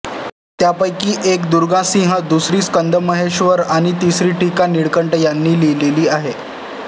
त्यापैकी एक दुर्गासिंह दुसरी स्कंदमहेश्वर आणि तिसरी टीका नीळकंठ यांनी लिहिलेली आहे